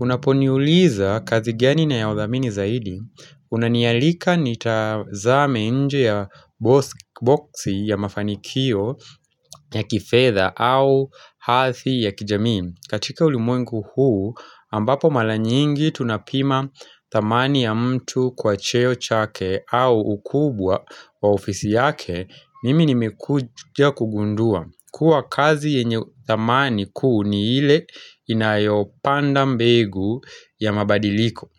Unaponiuliza kazi gani ninayodhamini zaidi, unanialika nitazame nje ya boxi ya mafanikio ya kifedha au hadhi ya kijamii. Katika ulimwengu huu ambapo mara nyingi tunapima dhamani ya mtu kwa cheo chake au ukubwa wa ofisi yake mimi nimekuja kugundua. Kuwa kazi yenye dhamani kuu ni ile inayopanda mbegu ya mabadiliko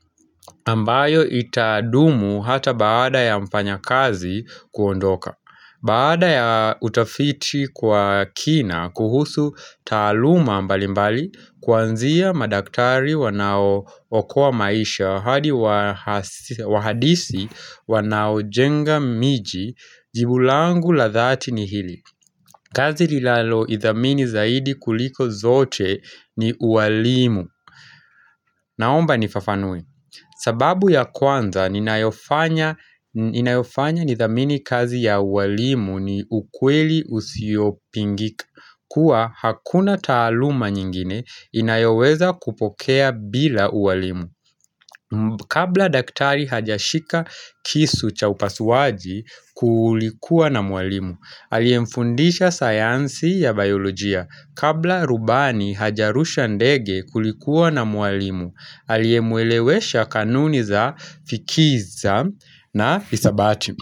ambayo itadumu hata baada ya mfanyakazi kuondoka Baada ya utafiti kwa kina kuhusu taaluma mbali mbali Kwanzia madaktari wanao okoa maisha hadi wahadisi wanao jenga miji jibu langu la dhati ni hili kazi nilalo idhamini zaidi kuliko zote ni uwalimu. Naomba nifafanue. Sababu ya kwanza, inayofanya nidhamini kazi ya uwalimu na ukweli usiyopingika. Kuwa hakuna taaluma nyingine inayoweza kutokea bila uwalimu. Kabla daktari hajashika kisu cha upasuaji kulikuwa na mwalimu. Aliyemfundisha sayansi ya biolojia. Kabla rubani hajarusha ndege kulikuwa na mwalimu. Aliyemwelewesha kanuni za fikiza na isabati.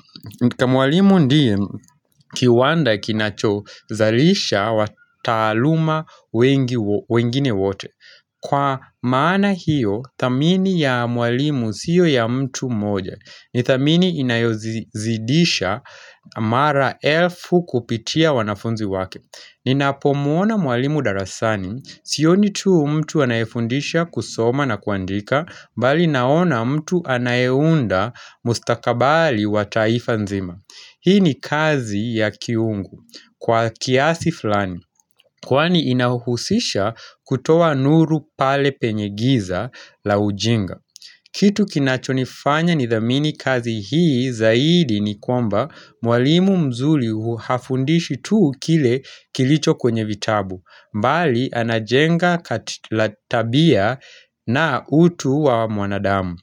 Mwalimu ndiye kiwanda kinacho zalisha wataaluma wengine wote Kwa maana hiyo, dhamini ya mwalimu sio ya mtu mmoja ni dhamini inayozidisha mara elfu kupitia wanafunzi wake Ninapo muona mwalimu darasani Sioni tu mtu anayefundisha kusoma na kuandika mbali naona mtu anayeunda mustakabali wa taifa nzima Hii ni kazi ya kiungu kwa kiasi flani Kwani inahuhusisha kutoa nuru pale penye giza la ujinga Kitu kinachonifanya ni dhamini kazi hii zaidi ni kwamba Mwalimu mzuri hafundishi tu kile kilicho kwenye vitabu bali anajenga tabia na utu wa mwanadamu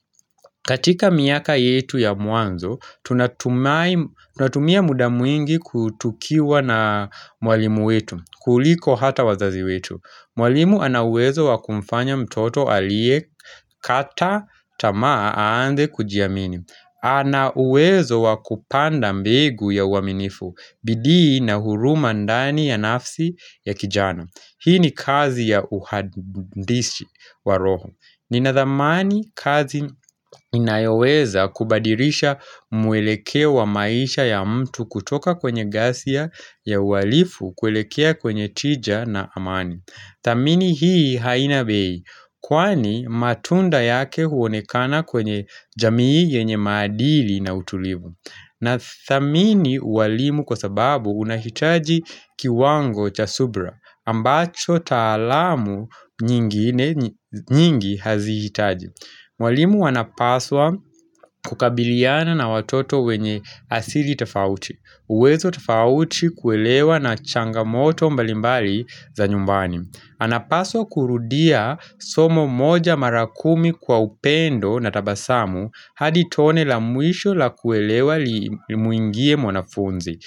katika miaka yetu ya mwanzo, tunatumia muda mwingi kutukiwa na mwalimu wetu kuliko hata wazazi wetu Mwalimu anauwezo wakumfanya mtoto aliyekata tamaa anze kujiamini Anauwezo wakupanda mbegu ya uaminifu bidii na huruma ndani ya nafsi ya kijana Hii ni kazi ya uhandishi waroho. Ninadhamani kazi inayoweza kubadilisha mwelekeo maisha ya mtu kutoka kwenye ghasia ya uhalifu kuelekea kwenye tija na amani. Dhamini hii haina bei, kwani matunda yake huonekana kwenye jamii yenye maadili na utulivu. Na dhamini uwalimu kwa sababu unahitaji kiwango cha subira, ambacho taalamu nyingi hazi hitaji. Mwalimu anapaswa kukabiliana na watoto wenye asili tafauti. Uwezo tafauti kuelewa na changamoto mbalimbali za nyumbani. Anapaswa kurudia somo moja marakumi kwa upendo na tabasamu had itone la mwisho la kuelewa limuingie mwanafunzi.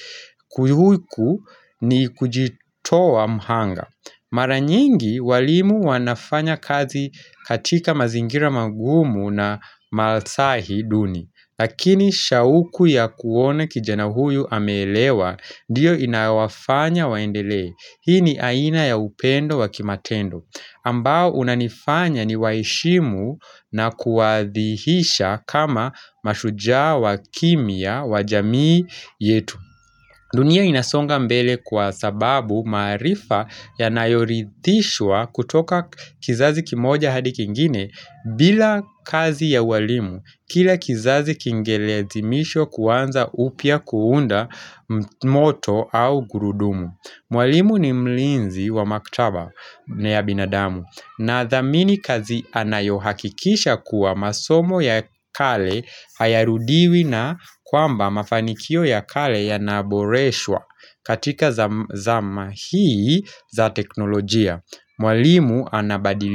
Kujihuku ni kujitowa mhanga. Mara nyingi walimu wanafanya kazi katika mazingira magumu na malasahi duni. Lakini shauku ya kuona kijana huyu ameelewa ndio inaowafanya waendelee. Hii ni aina ya upendo wa kimatendo ambao unanifanya ni waheshimu na kuadhihisha kama mashujaa wa kimia wa jamii yetu. Dunia inasonga mbele kwa sababu maarifa yanayoridhishwa kutoka kizazi kimoja hadi kingine bila kazi ya walimu. Kila kizazi kingelazimishwa kuanza upya kuunda moto au gurudumu. Mwalimu ni mlinzi wa maktaba na ya binadamu na dhamini kazi anayohakikisha kuwa masomo ya kale hayarudiwi na kwamba mafanikio ya kale ya naboreshwa katika zama hii za teknolojia. Mwalimu anabadili.